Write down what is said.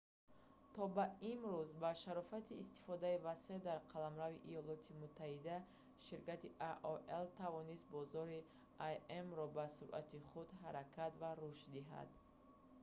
то ба имрӯз ба шарофати истифодаи васеъ дар қаламрави иёлоти муттаҳида ширкати aol тавонистааст бозори im-ро бо суръати худ ҳаракат ва рушд диҳад